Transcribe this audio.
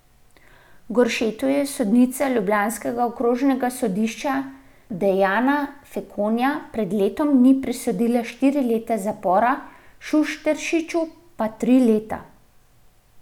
Goršetu je sodnica ljubljanskega okrožnega sodišča Dejana Fekonja pred letom dni prisodila štiri leta zapora, Šušteršiču pa tri leta.